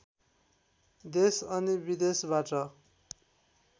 देश अनि विदेशबाट